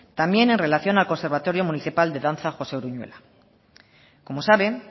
también en relación al conservatorio municipal de danza josé uruñuela como saben